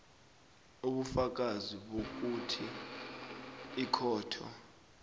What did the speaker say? ubufakazi bokuthi ikhotho